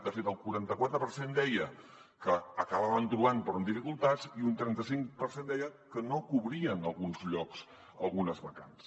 de fet el quaranta·quatre per cent deia que n’acabaven trobant però amb dificultats i un trenta·cinc per cent deia que no cobrien alguns llocs algunes vacants